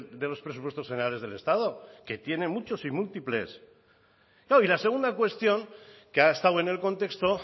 de los presupuestos generales del estado que tiene muchos y múltiples claro y la segunda cuestión que ha estado en el contexto